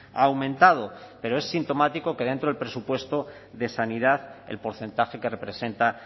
ha aumentado pero es sintomático que dentro del presupuesto de sanidad el porcentaje que representa